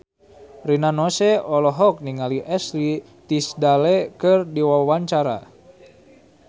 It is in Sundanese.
Rina Nose olohok ningali Ashley Tisdale keur diwawancara